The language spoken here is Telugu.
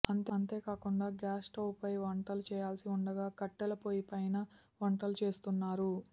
అంతే కాకుండా గ్యాస్ స్టౌవ్పై వంటలు చేయాల్సి ఉండగా కట్టెల పొయ్యిపైన వంటలు చేస్తున్నారు